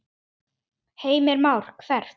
Heimir Már: Hvert?